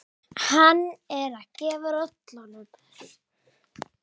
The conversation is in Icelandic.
Hann er að gefa rollunum.